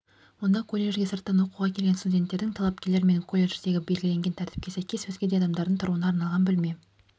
онда колледжге сырттан оқуға келген студенттердің талапкерлер мен колледждегі белгіленген тәртіпке сәйкес өзге де адамдардың тұруына арналған бөлме